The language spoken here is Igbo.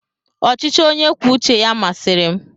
ọchịchị onye kwuo uche ya masịrị m.